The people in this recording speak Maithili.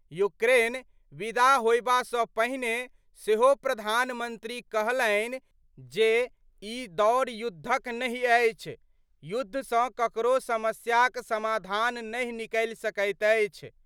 यूक्रेन विदा होयबा सं पहिने सेहो प्रधानमंत्री कहलनि जे ई दौर युद्धक नहि अछि, युद्ध सं ककरो समस्याक समाधान नहि निकलि सकैत अछि।